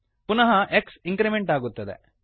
ಪುನಃ x increment ಆಗುತ್ತದೆ